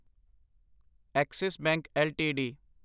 Axis Bank LTD